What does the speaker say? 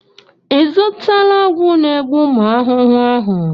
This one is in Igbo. Ị zụtala ọgwụ na-egbu ụmụ ahụhụ ahụ?